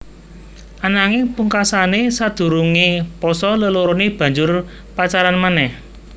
Ananging pungkasané sadurungé pasa leloroné banjur pacaran manéh